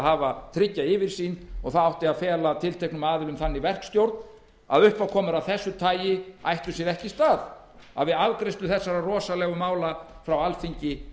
hafa trygga yfirsýn og það átti að fela tilteknum aðilum þannig verkstjórn að uppákomur af þessu tagi ættu sér ekki stað við afgreiðslu þessara rosalegu mála frá alþingi